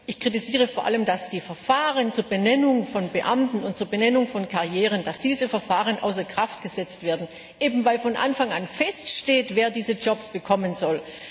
Ich kritisiere vor allem, dass die Verfahren zur Benennung von Beamten und zur Benennung von Karrieren außer Kraft gesetzt werden, eben weil von Anfang feststeht, wer diese Jobs bekommen soll.